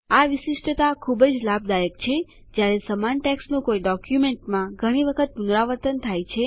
આ વિશિષ્ટતા ખુબજ લાભદાયક છે જ્યારે સમાન ટેક્સ્ટનું કોઈ ડોક્યુમેન્ટમાં ઘણી વખત પુનરાવર્તન થાય છે